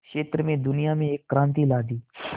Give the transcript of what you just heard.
क्षेत्र में दुनिया में एक क्रांति ला दी